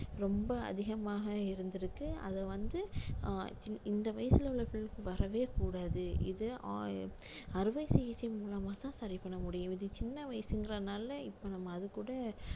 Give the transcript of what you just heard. ரொம்ப அதிகமாக இருந்திருக்கு அத வந்து அஹ் இந்த வயசுல உள்ள வரவே கூடாது இது ஆ~ அறுவை சிகிச்சை மூலமாத்தான் சரி பண்ண முடியும் இது சின்ன வயசுங்கிறதுனால இப்ப நம்ம அதுகூட